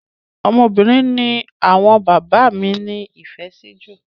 Ọmọbìnrin ni àwọn bàbá mí ní ìfẹ sí jù.